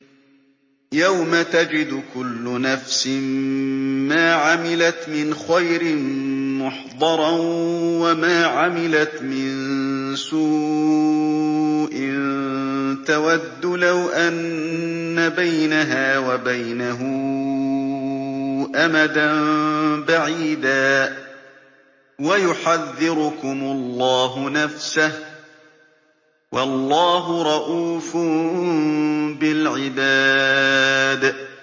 يَوْمَ تَجِدُ كُلُّ نَفْسٍ مَّا عَمِلَتْ مِنْ خَيْرٍ مُّحْضَرًا وَمَا عَمِلَتْ مِن سُوءٍ تَوَدُّ لَوْ أَنَّ بَيْنَهَا وَبَيْنَهُ أَمَدًا بَعِيدًا ۗ وَيُحَذِّرُكُمُ اللَّهُ نَفْسَهُ ۗ وَاللَّهُ رَءُوفٌ بِالْعِبَادِ